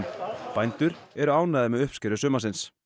bændur eru ánægðir með uppskeru sumarsins